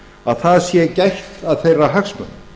að það sé gætt að þeirra hagsmunum